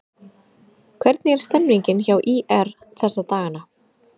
Hvernig er stemmningin hjá ÍR þessa dagana?